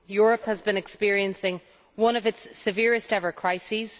Europe has been experiencing one of its severest ever crises.